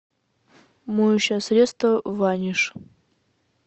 моющее средство ваниш